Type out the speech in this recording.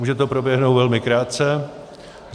Může to proběhnout velmi krátce.